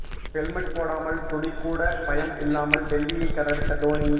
helmet போடாமல் துளி கூட பயம் இல்லாமல் டெல்லியை கதறவிட்ட தோனி